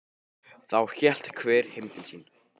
Þá hélt hver heim til sín.